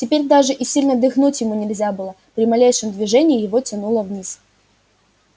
теперь даже и сильно дыхнуть ему нельзя было при малейшем движении его тянуло вниз